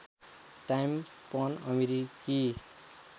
time पन अमेरिकी